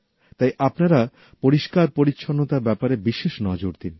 তাই আপনারা পরিষ্কারপরিচ্ছন্নতার ব্যাপারে বিশেষ নজর দিন